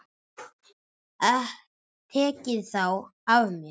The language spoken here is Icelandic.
Tekið þá af mér.